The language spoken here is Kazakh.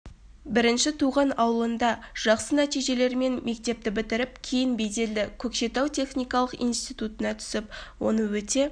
бірінші туған ауылында жақсы нәтижелермен мектепті бітіріп кейін беделді көкшетау техникалық институтына түсіп оны өте